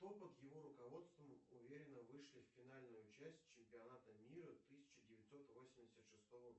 кто под его руководством уверенно вышли в финальную часть чемпионата мира тысяча девятьсот восемьдесят шестого